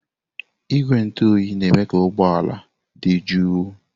Igwe ntụ oyi na-eme ka ụgbọ ala dị jụụ.